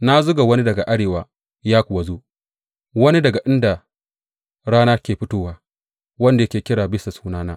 Na zuga wani daga arewa, ya kuwa zo, wani daga inda rana ke fitowa wanda yake kira bisa sunana.